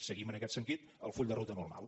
seguim en aquest sentit el full de ruta normal